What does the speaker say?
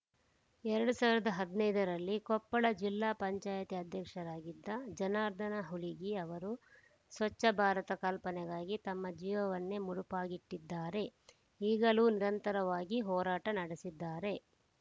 ಎರಡ್ ಸಾವಿರದ ಹದಿನೈದರಲ್ಲಿ ಕೊಪ್ಪಳ ಜಿಲ್ಲಾ ಪಂಚಾಯಿತಿ ಅಧ್ಯಕ್ಷರಾಗಿದ್ದ ಜನಾರ್ದನ್‌ ಹುಲಿಗಿ ಅವರು ಸ್ವಚ್ಛ ಭಾರತ ಕಲ್ಪನೆಗಾಗಿ ತಮ್ಮ ಜೀವನನ್ನೇ ಮುಡುಪಾಗಿಟ್ಟಿದ್ದಾರೆ ಈಗಲೂ ನಿರಂತರವಾಗಿ ಹೋರಾಟ ನಡೆಸಿದ್ದಾರೆ